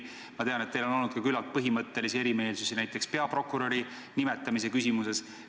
Ma tean, et teil on olnud küllalt põhimõttelisi eriarvamusi näiteks peaprokuröri nimetamise küsimuses.